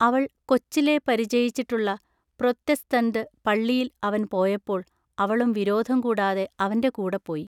അവൾ കൊച്ചിലെ പരിചയിച്ചിട്ടുള്ള പ്രോത്തെസ്തന്തു പള്ളിയിൽ അവൻ പോയപ്പോൾ അവളും വിരോധം കൂടാതെ അവന്റെ കൂടെപോയി.